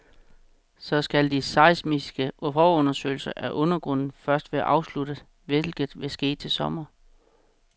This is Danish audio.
Så skal de seismiske forundersøgelser af undergrunden først være afsluttet, hvilket vil ske til sommer.